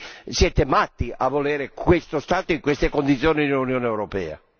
quindi siete matti a volere questo Stato in queste condizioni nell'Unione europea.